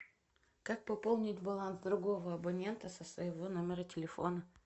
как пополнить баланс другого абонента со своего номера телефона